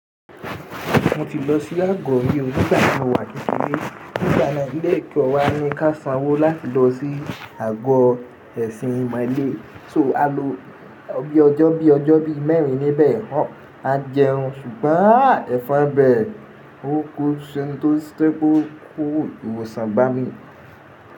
Mo ti lọ sí àgọ́ ilé òbí nígbà tí mo wà kìíní. Nígbà náà ilẹ̀kẹ̀ wa ní ká sanwó láti lọ sí àgọ́ ẹ̀sìn ìmọ̀le. So a lo ọjọ́ bí ọjọ́ bí mẹ́rin níbẹ̀ a jẹun ṣùgbọ́n ẹ̀fọn bẹ́ òkú tó sé kó kú. Ìwòsàn gbá mi.